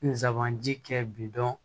Nsaban ji kɛ bidɔn